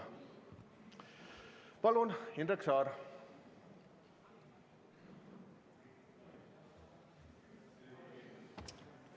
Palun, Indrek Saar!